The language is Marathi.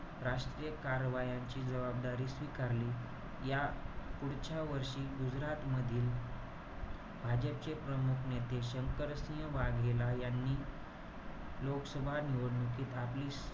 राष्ट्रीय कारवायांचे जबाबदारी स्वीकारली. या पुढच्या वर्षी गुजरातमधील, भाजपचे प्रमुख नेते, शंकर सिंह वाघेला यांनी लोकसभा निवडणुकीत आपली,